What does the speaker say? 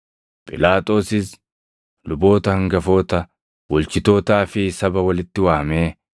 Phiilaaxoosis luboota hangafoota, bulchitootaa fi saba walitti waamee,